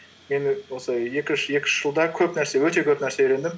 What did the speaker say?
енді осы екі үш жылда өте көп нәрсе үйрендім